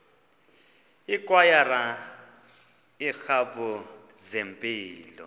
ikwayara iiklabhu zempilo